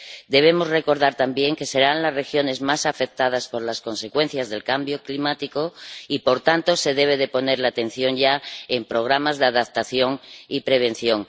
Debemos recordar también que serán las regiones más afectadas por las consecuencias del cambio climático y, por tanto, se debe poner la atención ya en programas de adaptación y prevención.